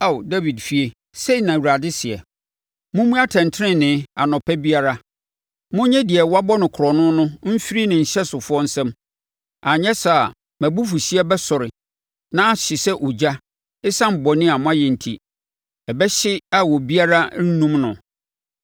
Ao Dawid efie, sei na Awurade seɛ: “ ‘Mommu atɛntenenee anɔpa biara; monnye deɛ wɔabɔ no korɔno no mfiri ne nhyɛsofoɔ nsam, anyɛ saa a mʼabufuhyeɛ bɛsɔre na ahye sɛ ogya ɛsiane bɔne a moayɛ enti, ɛbɛhye a obiara rennum no.